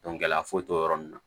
gɛlɛya foyi t'o yɔrɔ nunnu na